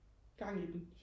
gang i den